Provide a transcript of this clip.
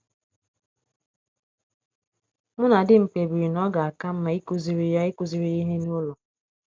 Mụ na di m kpebiri na ọ ga - aka mma ịkụziri ya ịkụziri ya ihe n’ụlọ.